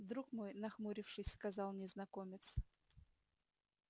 друг мой нахмурившись сказал незнакомец